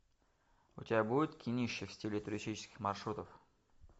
у тебя будет кинище в стиле туристических маршрутов